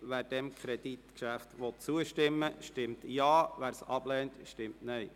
Wer diesem Kreditgeschäft zustimmen will, stimmt Ja, wer es ablehnt, stimmt Nein.